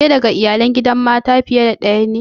Ke daga Iyalai na gidan mata fiye da daya ne?